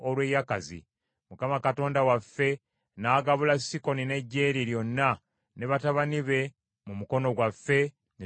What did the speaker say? Mukama Katonda waffe n’agabula Sikoni n’eggye lye lyonna, ne batabani be, mu mukono gwaffe ne tubawangula.